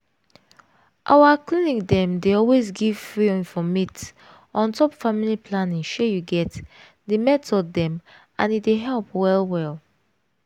our clinic dem dey always give free informate on top family planning shey you get di method dem and e dey help well well.